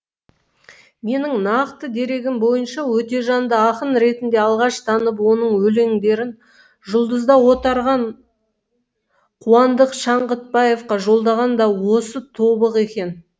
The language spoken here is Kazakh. менің нақты дерегім бойынша өтежанды ақын ретінде алғаш танып оның өлеңдерін жұлдызда отарған қуандық шаңғытбаевқа жолдаған да осы тобық екен